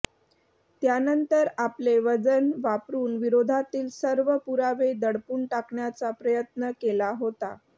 त्यानंतर आपले वजन वापरुन विरोधातील सर्व पुरावे दडपून टाकण्याचा प्रयत्न केला होता